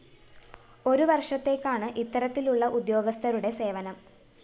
ഒരുവര്‍ഷത്തേക്കാണ് ഇത്തരത്തിലുള്ള ഉദ്യോഗസ്ഥരുടെ സേവനം